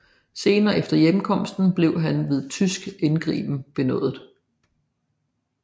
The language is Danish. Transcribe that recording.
Senere efter hjemkomsten blev han ved tysk indgriben benådet